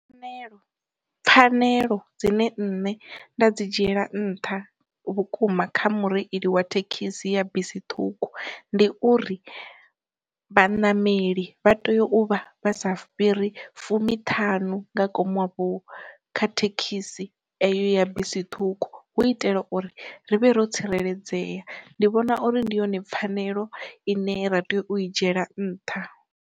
Fanelo pfhanelo dzine nṋe nda dzi dzhiela nṱha vhukuma kha mureili wa thekhisi ya bisi ṱhukhu ndi uri, vhanameli vha tea u vha vha sa fhiri fumiṱhanu nga kom wavhu kha thekhisi eyo ya bisi ṱhukhu, hu itela uri ri vhe ro tsireledzea ndi vhona uri ndi yone pfhanelo ine ra tea u i dzhiela nnṱha.